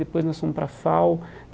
Depois nós fomos para a FAO.